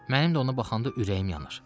Mənim də ona baxanda ürəyim yanır.